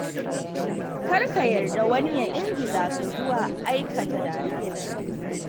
Kar ka yarda wani ya ingiza ka zuwa aikata da-na-sani.